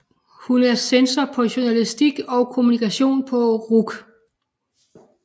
Hun er censor på Journalistik og Kommunikation på RUC